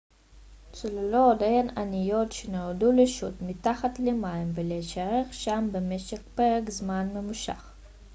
צוללות הן אניות שנועדו לשוט מתחת למים ולהישאר שם במשך פרק זמן ממושך